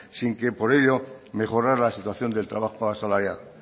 sin que por ello mejorará la situación del trabajo asalariado